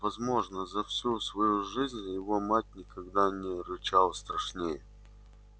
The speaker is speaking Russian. возможно за всю свою жизнь его мать никогда не рычала страшнее